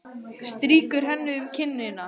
Strýkur henni um kinnina.